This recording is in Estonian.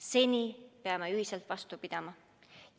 Seni peame ühiselt vastu pidama.